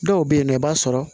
Dɔw bɛ yen nɔ i b'a sɔrɔ